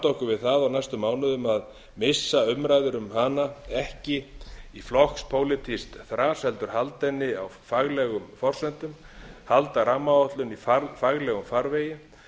okkur við það á næstu mánuðum að missa umræður um hana ekki í flokkspólitískt þras heldur halda henni á faglegum forsendum halda rammaáætluninni í faglegum farvegi